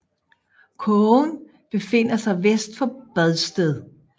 Kogen befinder sig vest for Bredsted